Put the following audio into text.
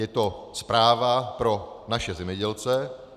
Je to zpráva pro naše zemědělce.